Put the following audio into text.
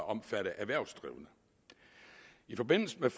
omfatte erhvervsdrivende i forbindelse med